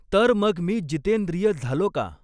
तर मग मी जितेंद्रिय झालो का